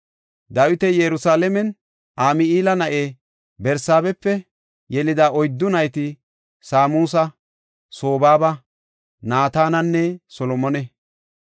Dawiti Yerusalaamen Ami7eela na7e Barsaabepe yelida oyddu nayti Saamusa, Sobaaba, Naatanenne Solomone.